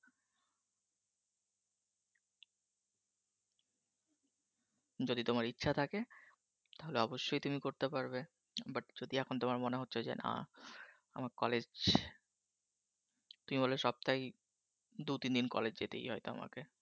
যদি তোমার ইচ্ছা থাকে তাহলে অবশ্যই তুমি করতে পারবে, but যদি এখন তোমার মনে হচ্ছে যে না আমার college তুমি বললে সপ্তাহে দু তিন দিন college যেতেই হয় তোমাকে।